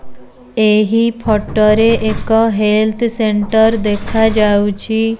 ଏହି ଫଟ ରେ ଏକ ହେଲ୍ଥ ସେଣ୍ଟର୍ ଦେଖାଯାଉଛି।